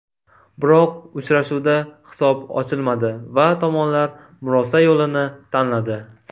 Biroq uchrashuvda hisob ochilmadi va tomonlar murosa yo‘lini tanladi.